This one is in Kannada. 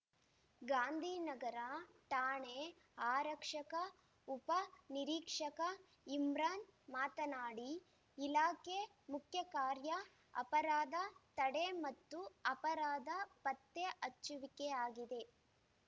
ಗಾಂಧಿ ನಗರ ಠಾಣೆ ಆರಕ್ಷಕ ಉಪ ನಿರೀಕ್ಷಕ ಇಮ್ರಾನ್‌ ಮಾತನಾಡಿ ಇಲಾಖೆ ಮುಖ್ಯ ಕಾರ್ಯ ಅಪರಾಧ ತಡೆ ಮತ್ತು ಅಪರಾಧ ಪತ್ತೆ ಹಚ್ಚುವಿಕೆಯಾಗಿದೆ